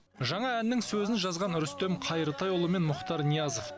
жаңа әннің сөзін жазған рүстем қайыртайұлы мен мұхтар ниязов